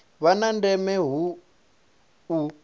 vha na ndeme hu u